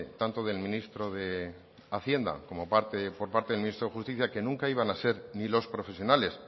tanto del ministro de hacienda como por parte del ministro de justicia que nunca iban a ser ni los profesionales